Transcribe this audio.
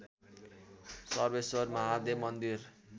सर्वेश्वर महादेव मन्दिर